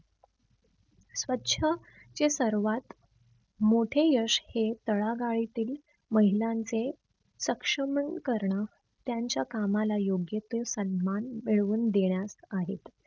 स्वछ हे सर्वात मोठे यश हे तळागाळीतील महिलांचे सक्षमीकरण त्यांच्या कामाला योग्य तो सन्मान मिळवून देण्यात आहे.